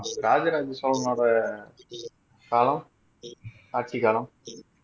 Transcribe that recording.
ராஜராஜ சோழனுடைய காலம் ஆட்சி காலம்